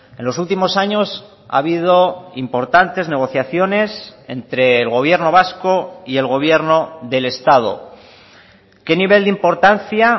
en los últimos años ha habido importantes negociaciones entre el gobierno vasco y el gobierno del estado qué nivel de importancia